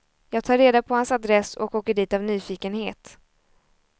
Jag tar reda på hans adress och åker dit av nyfikenhet.